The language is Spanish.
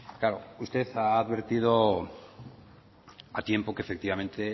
claro usted ha advertido a tiempo que efectivamente